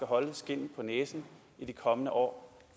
holde skindet på næsen i de kommende år